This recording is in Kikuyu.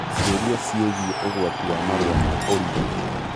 Ciũria ciĩgiĩ ũgati wa marũa ma ũrigiti